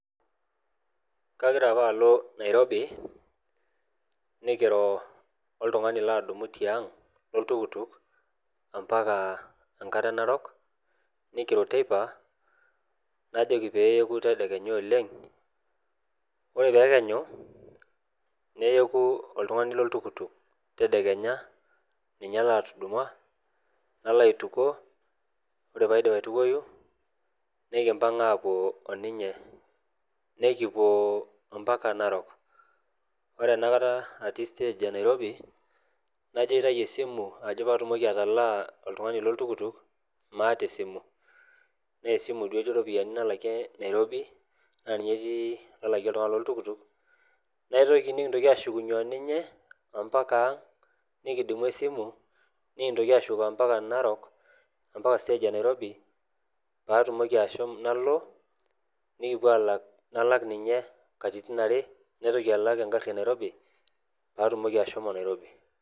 kagira apa alo nairobi, nikiro oltungani laatuduma tiang' lolltukutuk. mpaka enkare narok. nikiro teipa, najoki pee eyeku tedekenya oleng. ore pee ekenyu neyeku oltungani loltukutuk, tedekenya, ninye latudumua, nalo aitukuo. ore pee aidip aitukuoyu, nikimpang' aapuo oninye. nikipuo mpaka narok. ore enakata atii stage e nairobi, najo aitayu esimu pee atumoki atalaa oltungani looltukutuk. maata esimu, naa esimu duo etii iropiyiani nalakie nairobi naa ninye etii inalakie oltungani loltukutuk. naitoki, nikintoki ashukunye o ninye ompaka ang'.nikidumu esimu nikintoaashuko mpaka narok. mpaka stage e nairobi, pee atumoki ashomo, nalo, nikipuo aalak, nalak ninye katitin are, nalak egari enairobi, pee atumoki ashomo nairobi.